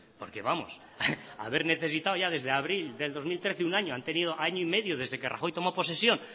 porque vamos haber necesitado ya desde abril de dos mil trece un año han tenido año y medio desde que rajoy tomó posesión